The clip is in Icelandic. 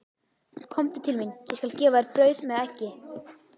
Komdu til mín, ég skal gefa þér brauð með eggi.